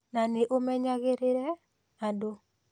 Na nĩũmenyagĩrĩrie, andũ